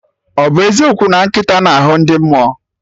Ọ bụ eziokwu na nkịta na-ahụ ndị mmụọ